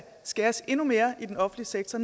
skæres endnu mere i den offentlige sektor